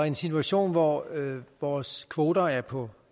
en situation hvor vores kvoter er på